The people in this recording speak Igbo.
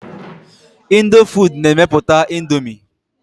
Indofood na-emepụta Indomie.